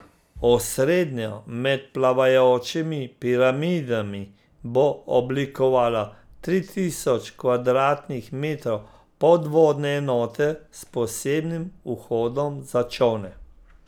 Osrednjo med plavajočimi piramidami bo oblikovalo tri tisoč kvadratnih metrov podvodne enote, s posebnim vhodom za čolne.